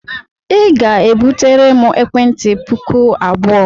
Ị ga-ebutere m ekwentị puku abụọ!